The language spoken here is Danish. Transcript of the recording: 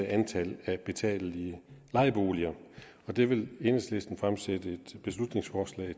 af antallet af betalelige lejeboliger og det vil enhedslisten fremsætte et beslutningsforslag